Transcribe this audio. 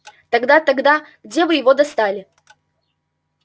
тогда тогда где вы его достали